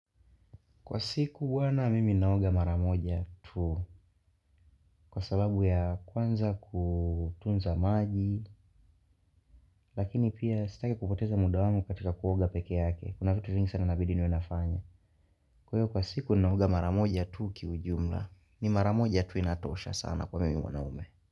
Kwa siku huwa na mimi naoga mara moja tu. Kwa sababu ya kwanza kutunza maji Lakini pia sitaki kupoteza muda wangu katika kuoga peke yake. Kuna vitu vingi sana nabidi niwe nafanya. Kwa hiyo kwa siku naoga mara moja tu kiujumla. Ni mara moja tu inatosha sana kwa mimi mwanaume.